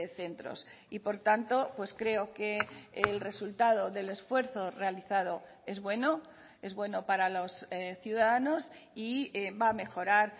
centros y por tanto pues creo que el resultado del esfuerzo realizado es bueno es bueno para los ciudadanos y va a mejorar